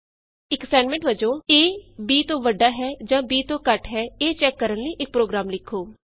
else if ਇਕ assignment ਵਜੋਂ a b ਤੋਂ ਵੱਡਾ ਹੈ ਜਾਂ b ਤੋਂ ਘਟ ਹੈ ਇਹ ਚੈਕ ਕਰਨ ਲਈ ਇਕ ਪ੍ਰੋਗਰਾਮ ਲਿਖੋ